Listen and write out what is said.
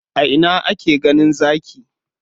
A ina ake ganin Zaki?